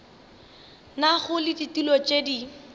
nago le ditulo tše di